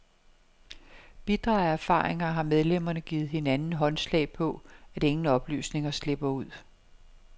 Bitre af erfaringer har medlemmerne givet hinanden håndslag på, at ingen oplysninger slipper ud.